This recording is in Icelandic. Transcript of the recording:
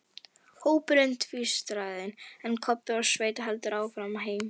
Hópurinn tvístraðist, en Kobbi og Svenni héldu áfram heim.